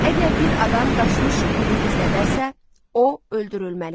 Əgər bir adam qaçmış qulu gizlədərsə, o öldürülməlidir.